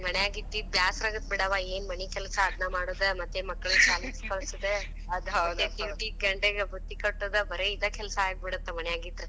ಹ್ಮ್. ಮನ್ಯಾಗ ಇದ್ದ ಇದ್ದ ಬ್ಯಾಸರ ಅಗತ್ ಬಿಡವಾ. ಏನ್ಮನಿ ಕೆಲಸ ಅದ್ನಾ ಮಾಡುದ, ಮತ್ತೆ ಮಕ್ಕಳನ ಶಾಲೆಗೆ ಕಳಿಸುದ , ಮತ್ duty ಗ ಗಂಡಗ ಬುತ್ತಿ ಕಟ್ಟುದ್, ಬರೇ ಇದ ಕೆಲಸ ಆಗಿ ಬಿಡುತ್ ಮನ್ಯಾಗ ಇದ್ರ.